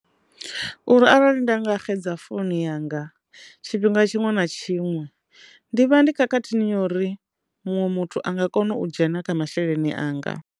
Uri arali nda nga xedza founu yanga tshifhinga tshiṅwe na tshiṅwe ndi vha ndi khakhathini ya uri muṅwe muthu anga kona u dzhena kha masheleni anga.